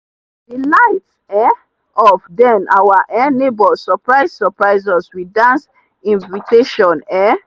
the light um off then our um neighbors surprise surprise us with dance invitation. um